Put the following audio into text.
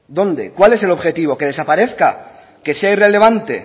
dónde cuál es el objetivo que desaparezca que sea irrelevante